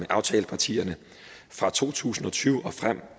aftalepartierne fra to tusind og tyve og frem